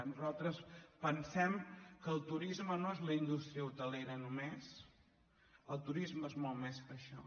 nosaltres pensem que el turisme no és la indús·tria hotelera només el turisme és molt més que això